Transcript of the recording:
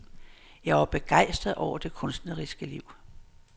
Jeg var begejstret over det kunstneriske liv.